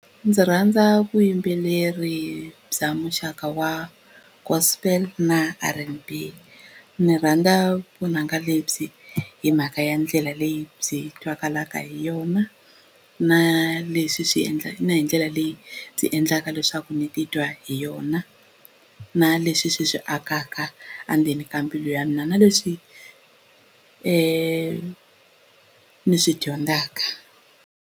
Ndzi rhandza vuyimbeleri bya muxaka wa Gospel na R_N_B ndzi rhandza vunanga lebyi hi mhaka ya ndlela leyi byi twakalaka hi yona na leswi swi na hi ndlela leyi byi endlaka leswaku ndzi titwa hi yona na leswi swi swi akaka endzeni ka mbilu ya mina na leswi ni swi dyondzaka.